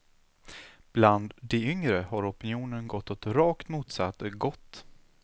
Bland de yngre har opinionen gått åt rakt motsatt gått.